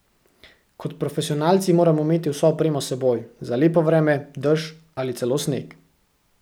Kot profesionalci moramo imeti vso opremo s seboj, za lepo vreme, dež ali celo sneg.